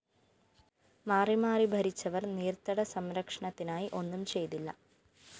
മാറി മാറി ഭരിച്ചവര്‍ നീര്‍ത്തട സംരക്ഷണത്തിനായി ഒന്നും ചെയ്തില്ല